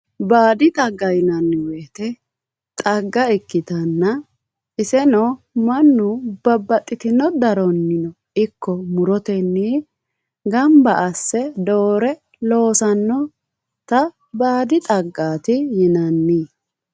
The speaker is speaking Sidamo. Baadi xagga yinanni woyte xagvgaa ikkitanna iseno mannu babbaxxitino daronnino ikko murotennii gamba asse doore loosannota baadi xaggaati yinanni